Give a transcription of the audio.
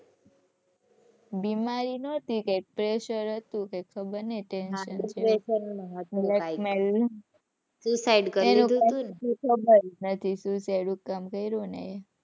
બીમારી નહોતી કઈક pressure હતું કઈક ખબર નહીં tension ખબર જ નથી suicide શું કામ કર્યું ને એ.